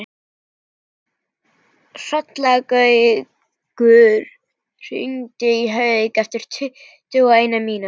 Hrollaugur, hringdu í Hauk eftir tuttugu og eina mínútur.